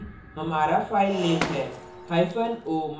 talk c हमारा filename है